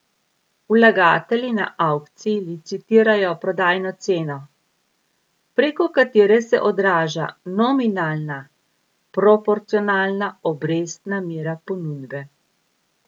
Vlagatelji na avkciji licitirajo prodajno ceno, preko katere se odraža nominalna proporcionalna obrestna mera ponudbe.